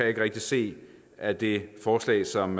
ikke rigtig se at det forslag som